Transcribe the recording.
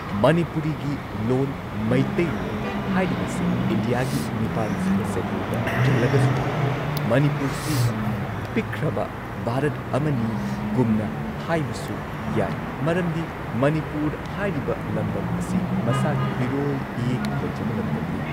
ꯃꯅꯤꯄꯨꯔꯤꯒꯤ ꯂꯣꯟ ꯃꯩꯇꯩꯂꯣꯟ ꯍꯥꯏꯔꯤꯕꯁꯤ ꯏꯟꯗꯤꯌꯥꯒꯤ ꯅꯤꯄꯥꯟ ꯁꯨꯕ ꯁꯦꯗ꯭ꯌꯨꯜꯗ ꯆꯜꯂꯒꯁꯨ ꯂꯩ ꯃꯅꯤꯄꯨꯔꯁꯤ ꯄꯤꯛꯈ꯭ꯔꯕ ꯚꯥꯔꯠ ꯑꯃꯅꯤ ꯒꯨꯝꯅ ꯍꯥꯏꯕꯁꯨ ꯌꯥꯏ ꯃꯔꯝꯗꯤ ꯃꯅꯤꯄꯨꯔ ꯍꯥꯏꯔꯤꯕ ꯂꯝꯗꯝ ꯑꯁꯤ ꯃꯁꯥꯒꯤ ꯏꯔꯣꯜ ꯏꯌꯦꯛ ꯂꯩꯖꯕ ꯂꯝꯗꯝꯅꯤ